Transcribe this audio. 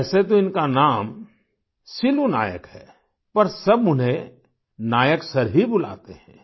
वैसे तो इनका नाम सिलू नायक है पर सब उन्हें नायक सर ही बुलाते हैं